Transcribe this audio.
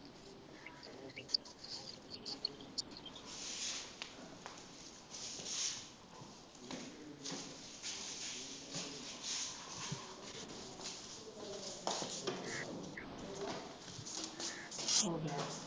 ਹੋ ਗਿਆ